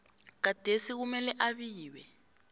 gadesi kumele abiwe